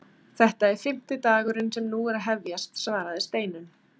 Þetta er fimmti dagurinn sem nú er að hefjast svaraði Steinunn.